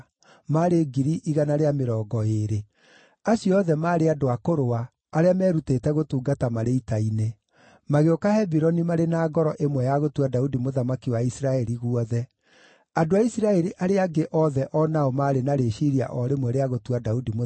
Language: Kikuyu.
Acio othe maarĩ andũ a kũrũa arĩa meerutĩte gũtungata marĩ ita-inĩ. Magĩũka Hebironi marĩ na ngoro ĩmwe ya gũtua Daudi mũthamaki wa Isiraeli guothe. Andũ a Isiraeli arĩa angĩ othe o nao maarĩ na rĩciiria o rĩmwe rĩa gũtua Daudi mũthamaki.